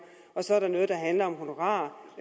og så er der noget der handler om honorarer